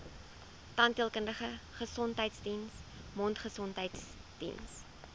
tandheelkundige gesondheidsdiens mondgesondheidsdiens